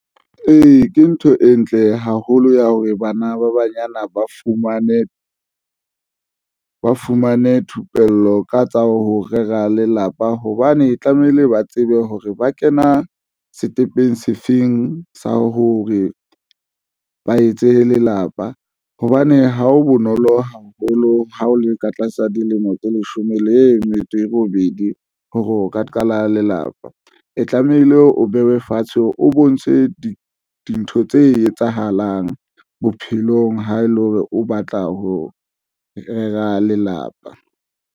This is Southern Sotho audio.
Ee, ke ntho e ntle haholo ya hore bana ba banyana ba fumane ba fumane thupello ka tsa ho rera lelapa hobane tlamehile ba tsebe hore ba kena sekepeng sefeng sa hore ba etse lelapa hobane ha ho bonolo haholo. Ha o le ka tlasa dilemo tse leshome le metso e robedi ho rona ka qala lelapa e tlamehile o behwe fatshe o bontshe dintho tse etsahalang bophelong ha e le hore o batla ho rera lelapa.